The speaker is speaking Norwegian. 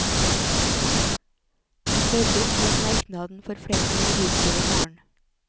Han sørget for at merknaden får flertall i bystyret i morgen.